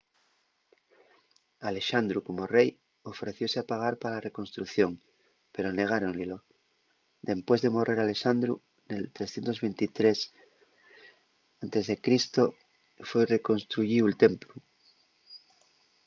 alexandru como rei ofrecióse a pagar pa la reconstrucción pero negáron-ylo dempués de morrer alexandru nel 323 e.c. foi reconstruyíu'l templu